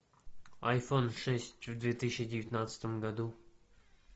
айфон шесть в две тысячи девятнадцатом году